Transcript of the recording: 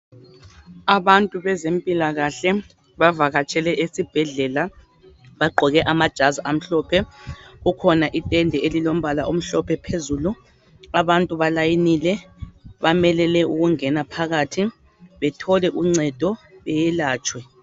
Abantu bezempilakahle bavakatshele esibhedlela. Bagqoke amajazi amhlophe. Kukhona itende elilombala omhlophe phezulu. Abantu balayinile, bamelele ukungena phakathi bethole uncedo, beyelatshwe.